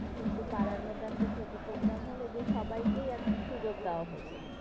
কিন্তু পাড়ার মধ্যে একটা ছোট programme হলে, যে সবাই কেই সুযোগ দেওয়া হতো।